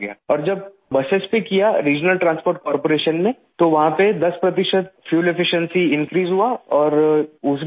اور جب علاقائی نقل و حمل کارپوریشن نے بسوں پر کیا تو وہاں پر 10 فیصد ایندھن اثرانگیزی میں اضافہ ہوا اور اس میں بھی 35